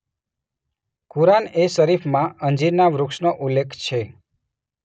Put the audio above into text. કુરાન-એ-શરીફમાં અંજીરના વૃક્ષનો ઉલ્લેખ છે.